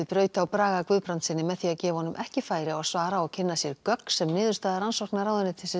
braut á Braga Guðbrandssyni með því að gefa honum ekki færi á að svara og kynna sér gögn sem niðurstaða rannsóknar ráðuneytisins